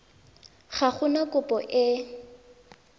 ga go na kopo e